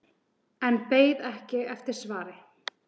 En beið ekki eftir svari.